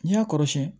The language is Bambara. N'i y'a kɔrɔsiyɛn